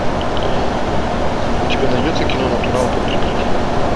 у тебя найдется кино натурал под прикрытием